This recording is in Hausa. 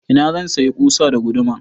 Ina zan sayi ƙusa da guduma?